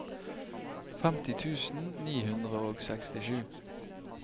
femti tusen ni hundre og sekstisju